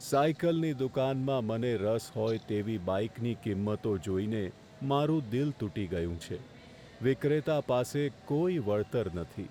સાઈકલની દુકાનમાં મને રસ હોય તેવી બાઈકની કિંમતો જોઈને મારું દિલ તૂટી ગયું છે. વિક્રેતા પાસે કોઈ વળતર નથી.